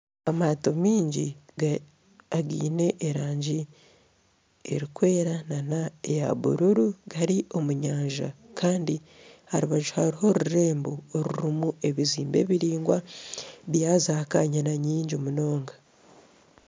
Amaato maingi againe erangi erikwera nana eya bururu gari omu nyanja kandi aha rubaju hariho orurembo orurimu ebizimbe biringwa bya zaakanyina nyingi munonga